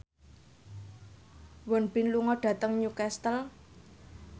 Won Bin lunga dhateng Newcastle